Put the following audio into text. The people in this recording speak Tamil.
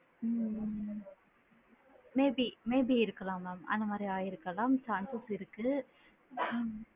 ஹம் உம் maybe maybe இருக்கலாம் mam அந்த மாதிரி ஆகி இருக்கலாம் chances இருக்கு உம்